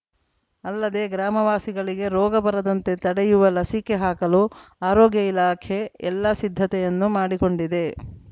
ಅಲ್ಲದೆ ಗ್ರಾಮವಾಸಿಗಳಿಗೆ ರೋಗ ಬರದಂತೆ ತಡೆಯುವ ಲಸಿಕೆ ಹಾಕಲು ಆರೋಗ್ಯ ಇಲಾಖೆ ಎಲ್ಲ ಸಿದ್ಧತೆಯನ್ನು ಮಾಡಿಕೊಂಡಿದೆ